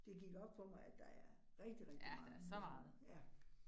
Det gik op for mig, at der er rigtig rigtig meget nyhedsnoget, ja